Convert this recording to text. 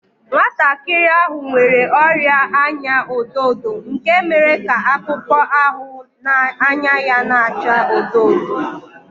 Nwantakịrị ahụ nwere ọrịa anya ọdọ ọdọ nke mere ka akpụkpọ ahụ na anya ya na-acha odo odo